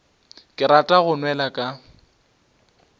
ke rata go nwela ka